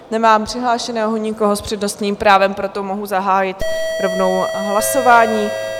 Nemám přihlášeného nikoho s přednostním právem, proto mohu zahájit rovnou hlasování.